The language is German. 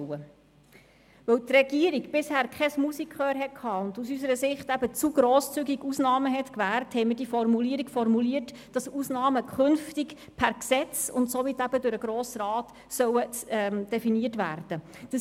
Weil die Regierung bisher kein Musikgehör zeigte und zu grosszügig Ausnahmen gewährte, haben wir die Formulierung gewählt, wonach Ausnahmen künftig per Gesetz und somit durch den Grossen Rat definiert werden sollen.